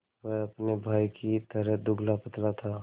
वह अपने भाई ही की तरह दुबलापतला था